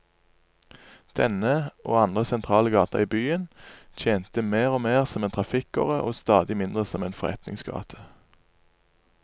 Denne, og andre sentrale gater i byen, tjente mer og mer som en trafikkåre og stadig mindre som forretningsgate.